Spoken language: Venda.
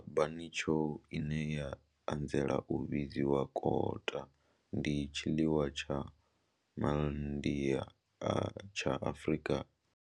Kota bunny chow, ine ya anzela u vhidzwa kota, ndi tshiḽiwa tsha Ma India tsha Afrika.